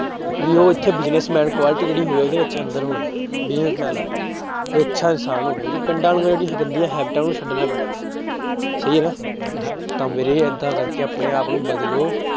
ਵੀ ਉਹ ਇੱਥੇ business-man quality ਜਿਹੜੀ ਹੋਵੇ ਉਹਦੇ ਵਿੱਚ ਅੰਦਰ ਹੋਏ business-man ਵੀ ਅੱਛਾ ਇਨਸਾਨ ਹੋਵੇ ਜੋ ਪਿੰਡਾਂ ਗੰਦੀਆਂ ਹੈਬਿਟਾਂ ਨੂੰ ਛੱਡਣਾ ਪੈਣਾ ਸਹੀ ਹੈ ਨਾ ਤਾਂ ਵੀਰੇ ਏਦਾਂ ਕਰਕੇ ਆਪਣੇ ਆਪ ਨੂੰ ਬਦਲੋ